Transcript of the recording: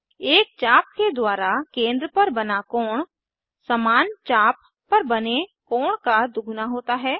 एक चाप के द्वारा केंद्र पर बना कोण समान चाप पर बने कोण का दुगुना होता है